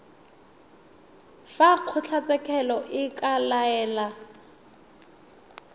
fa kgotlatshekelo e ka laela